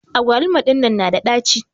agwaluma dinnan na da dachi.